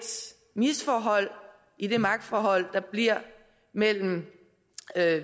misforhold i det magtforhold der bliver mellem